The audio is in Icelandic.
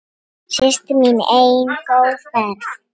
Systir mín ein, góða ferð.